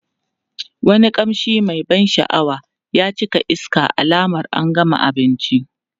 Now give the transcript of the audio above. Wani kamshi mai ban sha'awa ya cika iska alamar an gama abinci.